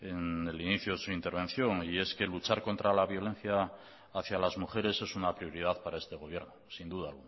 en el inicio de su intervención y es que luchar contra la violencia hacia las mujeres es una prioridad para este gobierno sin duda